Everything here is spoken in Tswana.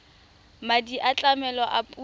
madi a tlamelo a puso